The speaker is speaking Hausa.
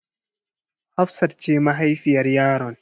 Hafsat ce mahaifiyar yaron.